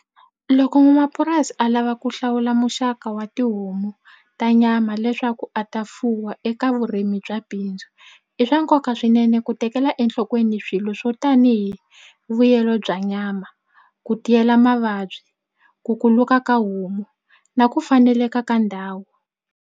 Loko n'wanamapurasi a lava ku hlawula muxaka wa tihomu ta nyama leswaku a ta fuwa eka vurimi bya bindzu i swa nkoka swinene ku tekela enhlokweni swilo swo tanihi vuyelo bya nyama ku tiyela mavabyi ku kuluka ka homu na ku faneleka ka ndhawu.